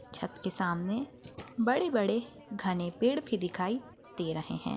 छत के सामने बड़े-बड़े घने पेड़ भी दिखाई दे रहे हैं।